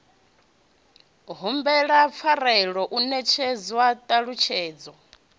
humbelwa pfarelo u netshedzwa ṱhalutshedzo